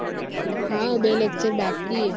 હા બે lecture બાકી હે